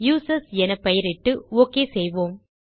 users என பெயரிட்டு okay செய்வோம்